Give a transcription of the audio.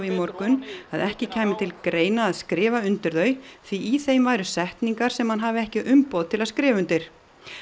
morgun að ekki kæmi til greina að skrifa undir þau því í þeim væru setningar sem hann hafi ekki umboð til að skrifa undir